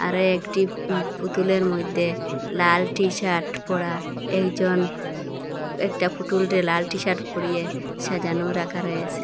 আরো একটি পু পুতুলের মইধ্যে লাল টি-শার্ট পরা একজন একটা পুটুলরে লাল টি-শার্ট পরিয়ে সাজানো রাখা রয়েসে।